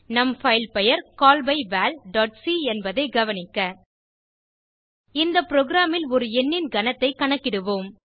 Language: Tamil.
நம் பைல் பெயர் callbyvalசி என்பதைக் கவனிக்க இந்த புரோகிராம் ல் ஒரு எண்ணின் கனத்தைக் கணக்கிடுவோம்